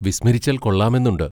വിസ്മരിച്ചാൽ കൊള്ളാമെന്നുണ്ട്.